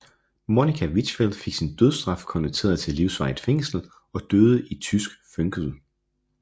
Monica Wichfeld fik sin dødsstraf konverteret til livsvarigt fængsel og døde i tysk føngsel